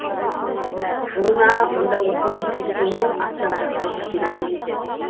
жылына мұнда осындай сексеннен астам жағдай тіркеледі екен